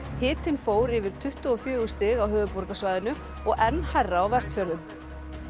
hitinn fór yfir tuttugu og fjögur stig á höfuðborgarsvæðinu og enn hærra á Vestfjörðum